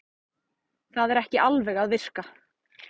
Það er ekki alveg að virka